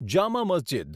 Jama Masjid